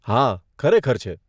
હા, ખરેખર છે.